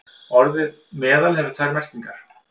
Orðið meðal hefur tvær merkingar.